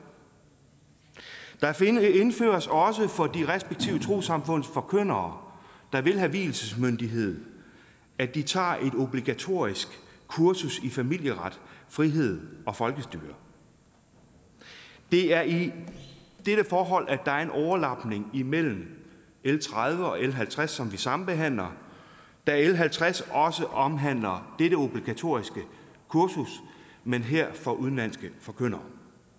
der indføres også for de respektive trossamfunds forkyndere der vil have vielsesmyndighed at de tager et obligatorisk kursus i familieret frihed og folkestyre det er i dette forhold at der er en overlapning imellem l tredive og l halvtreds som vi sambehandler da l halvtreds også omhandler dette obligatoriske kursus men her for udenlandske forkyndere